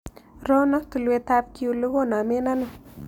Rono tulwetap kyulu konomen ano